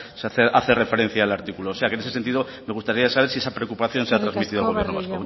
se hace referencia al artículo o sea que en ese sentido me gustaría saber si esa preocupación se ha transmitido al gobierno vasco